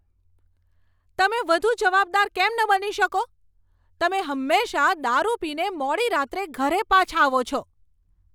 તમે વધુ જવાબદાર કેમ ન બની શકો? તમે હંમેશાં દારૂ પીને મોડી રાત્રે ઘરે પાછા આવો છો.